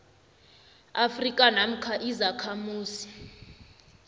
afrika namkha izakhamuzi